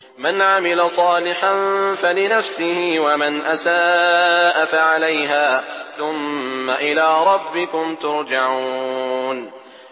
مَنْ عَمِلَ صَالِحًا فَلِنَفْسِهِ ۖ وَمَنْ أَسَاءَ فَعَلَيْهَا ۖ ثُمَّ إِلَىٰ رَبِّكُمْ تُرْجَعُونَ